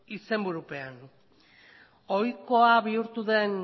izenburupean ohikoa bihurtu den